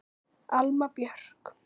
Alma Björk.